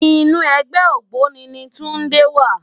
Inú ègbè ôgbóni ni Tunde wá